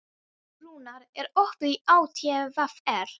Rúnar, er opið í ÁTVR?